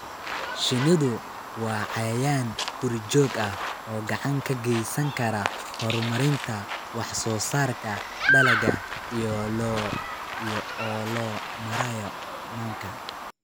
Shinnidu waa cayayaan guri-joog ah oo gacan ka geysan kara horumarinta wax-soo-saarka dalagga iyada oo loo marayo manka.